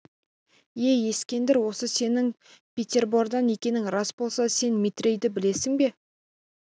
ей ескендір осы сенің петербордан екенің рас болса сен метрейді білесің бе